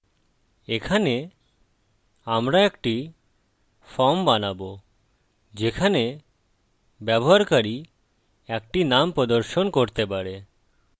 এখানে আমরা একটি ফর্ম বানাবো যেখানে ব্যবহারকারী একটি নাম প্রদর্শন করতে পারে